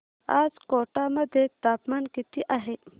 आज कोटा मध्ये तापमान किती आहे